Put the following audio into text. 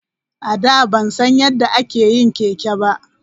A da ban san yadda ake yin keke ba.